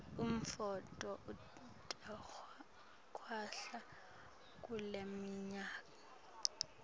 umnotfo utakwehla kuleminyaka